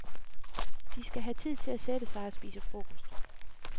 De skal have tid til at sætte sig og spise frokost.